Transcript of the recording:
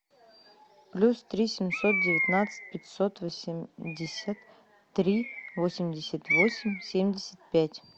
плюс три семьсот девятнадцать пятьсот восемьдесят три восемьдесят восемь семьдесят пять